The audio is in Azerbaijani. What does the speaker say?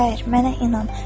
Şair, mənə inan,